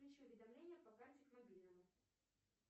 включи уведомления по карте к мобильному